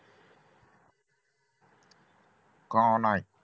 का नाही